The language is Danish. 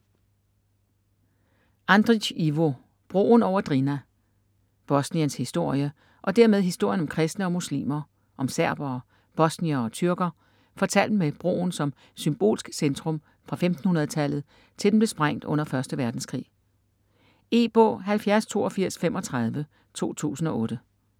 Andri´c, Ivo: Broen over Drina Bosniens historie, og dermed historien om kristne og muslimer, om serbere, bosniere og tyrker, fortalt med broen som symbolsk centrum fra 1500-tallet til den blev sprængt under 1. verdenskrig. E-bog 708235 2008.